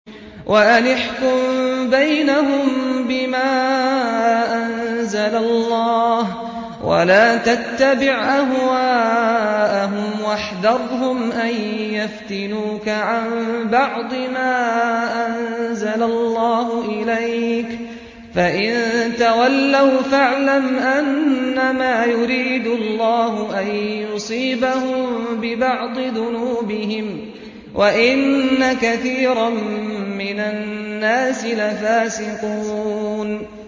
وَأَنِ احْكُم بَيْنَهُم بِمَا أَنزَلَ اللَّهُ وَلَا تَتَّبِعْ أَهْوَاءَهُمْ وَاحْذَرْهُمْ أَن يَفْتِنُوكَ عَن بَعْضِ مَا أَنزَلَ اللَّهُ إِلَيْكَ ۖ فَإِن تَوَلَّوْا فَاعْلَمْ أَنَّمَا يُرِيدُ اللَّهُ أَن يُصِيبَهُم بِبَعْضِ ذُنُوبِهِمْ ۗ وَإِنَّ كَثِيرًا مِّنَ النَّاسِ لَفَاسِقُونَ